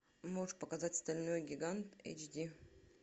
можешь показать стальной гигант эйч ди